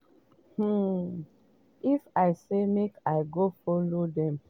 um if i say make i go follow dem play